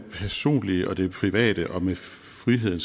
personlige og det private og med frihed